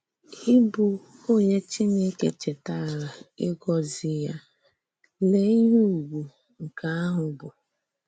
Ìbụ onye Chìnèkè chè̀tàrà ígọ̀zì ya — lèe íhè ùgwù nke ahụ bụ!